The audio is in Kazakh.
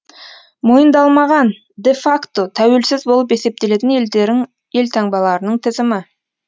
мойындалмаған де факто тәуелсіз болып есептелетін елдерің елтаңбаларының тізімі